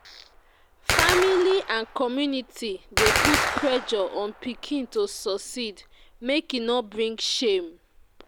family and community dey put pressure on pikin to succeed, make e no bring shame.